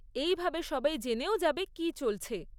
এইভাবে সবাই জেনেও যাবে কী চলছে।